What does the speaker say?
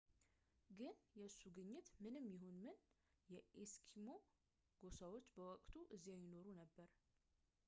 ግን የእሱ ግኝት ምንም ይሁን ምን የኤስኪሞ ጎሳዎች በወቅቱ እዚያ ይኖሩ ነበር